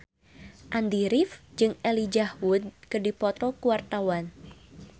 Andy rif jeung Elijah Wood keur dipoto ku wartawan